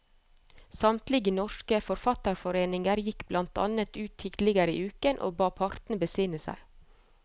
Samtlige norske forfatterforeninger gikk blant annet ut tidligere i uken og ba partene besinne seg.